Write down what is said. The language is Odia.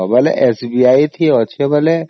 ତେବେ SBI ରେ ଯାଅ ଯେତେବେଳ